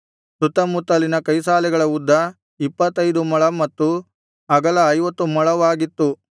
ಸುತ್ತುಮುತ್ತಲಿನ ಕೈಸಾಲೆಗಳ ಉದ್ದ ಇಪ್ಪತ್ತೈದು ಮೊಳ ಮತ್ತು ಅಗಲ ಐದು ಮೊಳವಾಗಿತ್ತು